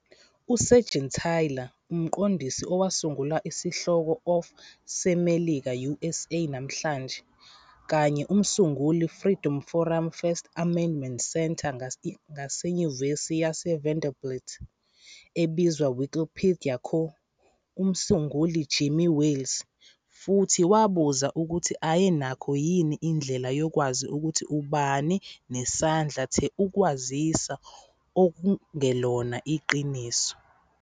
USeigenthaler, umqondisi owasungula isihloko of seMelika, USA, namhlanje, kanye umsunguli Freedom Forum First Amendment Center ngaseNyuvesi yaseVanderbilt, ebizwa Wikipedia co-umsunguli Jimmy Wales futhi wabuza ukuthi ayenakho yini indlela yokwazi ukuthi obani nesandla the ukwaziswa okungelona iqiniso.